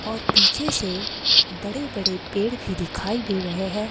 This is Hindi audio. और पीछे से बड़े-बड़े पेड़ भी दिखाई दे रहे हैं।